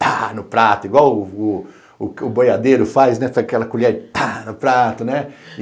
tá no prato, igual o boiadeiro faz, pega aquela colher e tá no prato, né?